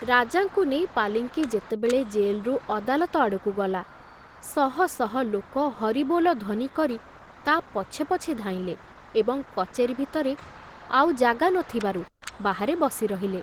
ରାଜାଙ୍କୁ ନେଇ ପାଲିଙ୍କି ଯେତେବେଳେ ଜେଲରୁ ଅଦାଲତ ଆଡ଼କୁ ଗଲା, ଶହ ଶହ ଲୋକ ହରିବୋଲ ଧ୍ବନି କରି ତା ପଛେ ପଛେ ଧାଇଁଲେ ଏବଂ କଚେରୀ ଭିତରେ ଆଉ ଜାଗା ନ ଥିବାରୁ ବାହାରେ ବସି ରହିଲେ।